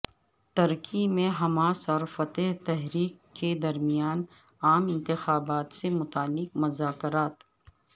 ترکی میں حماس اور فتح تحریک کے درمیان عام انتخابات سے متعلق مذاکرات